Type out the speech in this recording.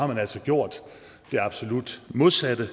har altså gjort det absolut modsatte